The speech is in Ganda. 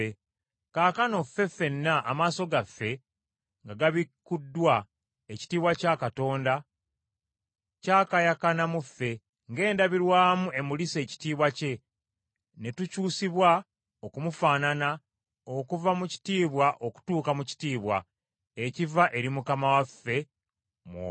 Kaakano ffe ffenna, amaaso gaffe nga gabikuddwa, ekitiibwa kya Katonda kyakaayakana mu ffe ng’endabirwamu emulisa ekitiibwa kye ne tukyusiibwa okumufaanana okuva mu kitiibwa okutuuka mu kitiibwa, ekiva eri Mukama waffe, Mwoyo.